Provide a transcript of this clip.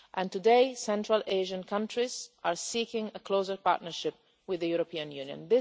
Today, Central Asian countries are seeking a closer partnership with the European Union.